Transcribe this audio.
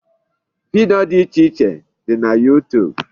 Video dị iche iche dị na YouTube.